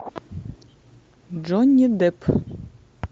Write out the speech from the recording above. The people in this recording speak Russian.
джонни депп